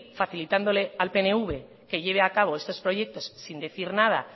facilitándole al pnv que lleve a cabo estos proyectos sin decir nada